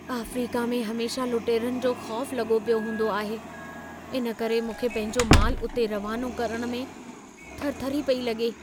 Africa में हमेशह लुटेरनि जो ख़ौफ़ लॻो पियो हूंदो आहे। इन करे मूंखे पंहिंजो मालु उते रवानो करण में थरथरी पेई लॻे।